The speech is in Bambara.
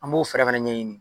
An b'o fɛrɛ fɛnɛ ɲɛɲini.